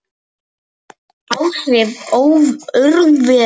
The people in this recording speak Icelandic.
Áhrif örvera